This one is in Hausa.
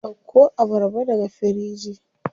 Dauko abarba daga firiji.